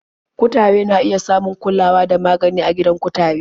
Kutare na iya samun kulawa da magani a gidan kutare.